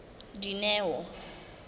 dineo